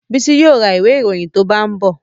Bísí yóò ra ìwé ìròyìn tó bá ń bọ̀